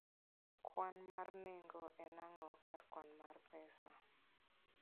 Kwan mar nengo en ang'o e kar kwan mar pesa.